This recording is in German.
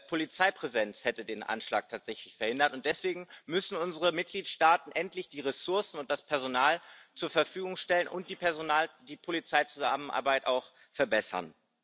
Polizeipräsenz hätte den Anschlag tatsächlich verhindert, und deswegen müssen unsere Mitgliedstaaten endlich die Ressourcen und das Personal zur Verfügung stellen und die polizeiliche Zusammenarbeit auch verbessern.